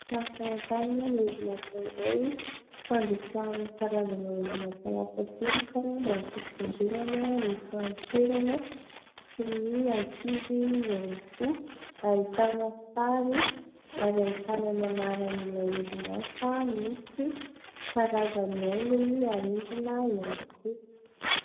Sary famantanana orinasa iray fandrotsahana karazana orinasa latsakemboka mba ho fitsinjovana ny fahanterana sy ny ankizy ihany koa ; ahitana sary ary ahitana ny anaran'ilay orinasa misy karazan'ny haingony harendrina ihany koa.